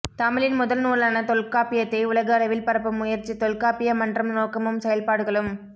தமிழின் முதல் நூலான தொல்காப்பியத்தை உலக அளவில் பரப்பும் முயற்சி தொல்காப்பிய மன்றம் நோக்கமும் செயல்பாடுகளும்